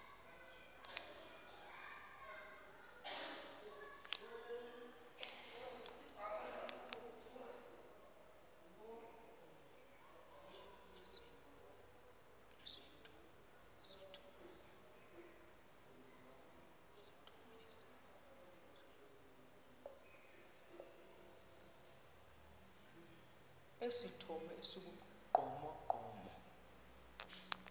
esithomo esi sibugqomogqomo